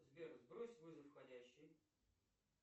сбер сбрось вызов входящий